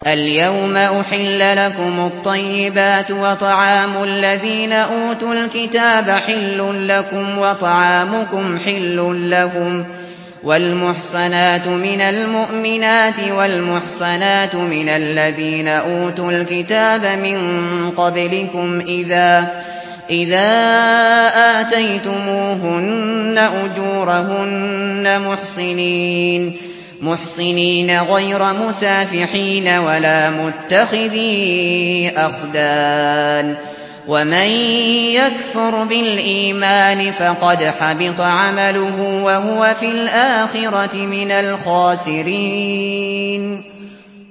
الْيَوْمَ أُحِلَّ لَكُمُ الطَّيِّبَاتُ ۖ وَطَعَامُ الَّذِينَ أُوتُوا الْكِتَابَ حِلٌّ لَّكُمْ وَطَعَامُكُمْ حِلٌّ لَّهُمْ ۖ وَالْمُحْصَنَاتُ مِنَ الْمُؤْمِنَاتِ وَالْمُحْصَنَاتُ مِنَ الَّذِينَ أُوتُوا الْكِتَابَ مِن قَبْلِكُمْ إِذَا آتَيْتُمُوهُنَّ أُجُورَهُنَّ مُحْصِنِينَ غَيْرَ مُسَافِحِينَ وَلَا مُتَّخِذِي أَخْدَانٍ ۗ وَمَن يَكْفُرْ بِالْإِيمَانِ فَقَدْ حَبِطَ عَمَلُهُ وَهُوَ فِي الْآخِرَةِ مِنَ الْخَاسِرِينَ